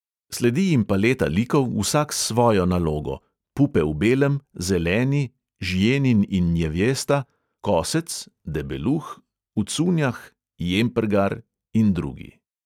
Sledi jim paleta likov, vsak s svojo nalogo: pupe v belem, zeleni, žjenin in njevjesta, kosec, debeluh, v cunjah, jemprgar in drugi.